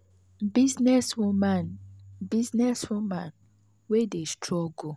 . business woman business woman wey dey struggle